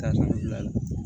Taabolo la